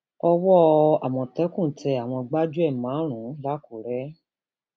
um owó àmọtẹkùn tẹ àwọn gbájúẹ márùnún làkúrẹ